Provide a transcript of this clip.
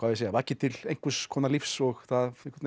segja vakið til einhvers konar lífs og það